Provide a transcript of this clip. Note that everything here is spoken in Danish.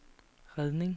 redning